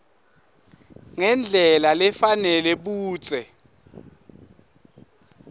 ngendlela lefanele budze